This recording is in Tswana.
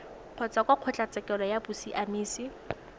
kgotsa kwa kgotlatshekelo ya bosiamisi